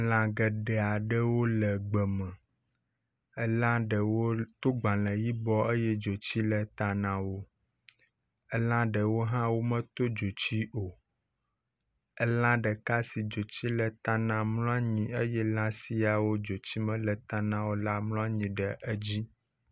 Lã geɖe aɖewo le gbeme. Elã ɖewo to gbale yibɔ eye dzotsi le ta na wo. Elã ɖewo hã meto dzotsi o. Elã ɖeka si edzotsi le ta na mlɔ anyi eye elã siawo dzotsi mele ta na o la mlɔ anyi ɖe edzi.